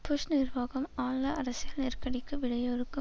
push நிர்வாகம் ஆழ்ந்த அரசியல் நெருக்கடிக்கு விடையறுக்கு